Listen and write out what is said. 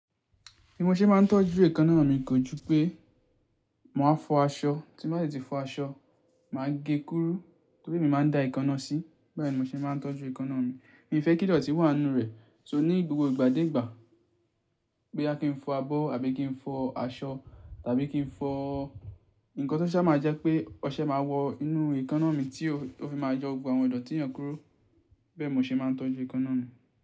Bí mo ṣe máa ń tọ́jú èékánná mi kò júpé mo máa fọ aṣọ, tí mo bá si ti fọ aṣọ, màá gé e kúrú torí emi máa ń da èékánná sí, bẹ́ẹ̀ ni mo ṣe máa ń tọ́jú èékánná mi. Mi ò fẹ́ kí idọ̀tí wà nínú rẹ̀, so ní gbogbo ìgbà dé ìgbà boya kì n fọ abọ́ àbí kì í fọ aṣọ tàbí kì í fọ nǹkan tó ṣa máa jẹ́ pé ọṣẹ máa wọ inú èékánná mi tí ó fi máa jọ gbogbo àwọn idọ̀tí yẹn kúro, bẹ́ẹ̀ ni mo ṣe máa ń tọ́jú èékánná mi.